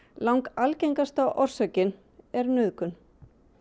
algengasta orsökin er nauðgun